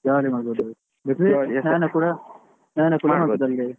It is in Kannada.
Jolly ಮಾಡ್ಬೋಡು ಸ್ನಾನ ಕೂಡ .